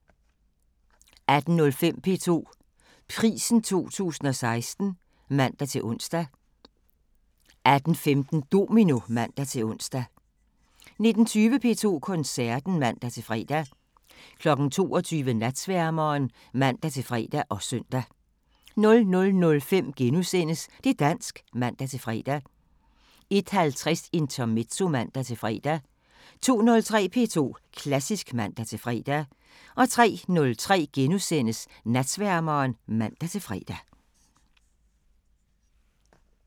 18:05: P2 Prisen 2016 (man-ons) 18:15: Domino (man-ons) 19:20: P2 Koncerten (man-fre) 22:00: Natsværmeren (man-fre og søn) 00:05: Det' dansk *(man-fre) 01:50: Intermezzo (man-fre) 02:03: P2 Klassisk (man-fre) 03:03: Natsværmeren *(man-fre)